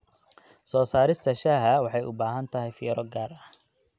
Soo saarista shaaha waxay u baahan tahay fiiro gaar ah.